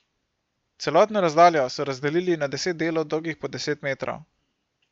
Celotno razdaljo so razdelili na deset delov dolgih po deset metrov.